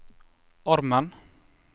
armen